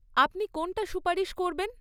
আপনি কোনটা সুপারিশ করবেন?